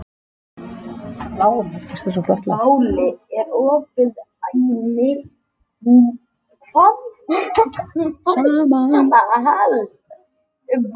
Það er fyrsti sunnudagur í aðventu og komið að slúðrinu.